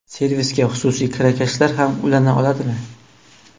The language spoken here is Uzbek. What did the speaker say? Servisga xususiy kirakashlar ham ulana oladimi?